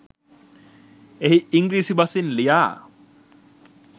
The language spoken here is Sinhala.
එහි ඉංග්‍රීසි බසින් ලියා